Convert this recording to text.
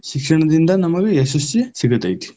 ಶಿಕ್ಷಣದಿಂದ ನಮಗ ಯಶಸ್ಸ ಸಿಗತೈತಿ.